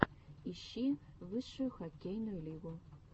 ищи высшую хоккейную лигу